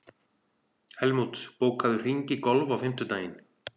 Helmút, bókaðu hring í golf á fimmtudaginn.